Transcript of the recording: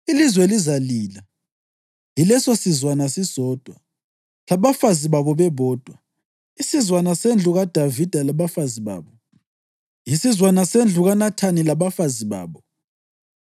Ilizwe lizalila, yilesosizwana sisodwa, labafazi babo bebodwa; isizwana sendlu kaDavida labafazi babo, isizwana sendlu kaNathani labafazi babo,